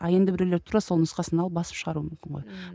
а енді біреулер тұра сол нұсқасын алып басып шығаруы мүмкін ғой ммм